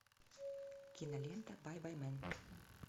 кинолента байбаймэн